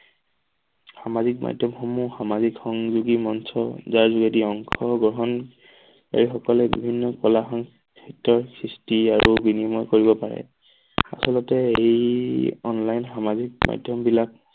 সামাজিক মাধ্যমসমূহ সামাজিক সংযোগী মঞ্চৰ যাৰ যোগেদি অংশগ্ৰহণ এই সকলৰ বিভিন্ন কলা সং সাহিত্যৰ সৃষ্টি আৰু বিনিময় কৰিব পাৰে। আচলতে এই অনলাইন সামাজিক মাধ্যম বিলাক